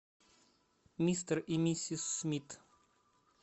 мистер и миссис смит